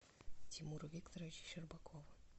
тимура викторовича щербакова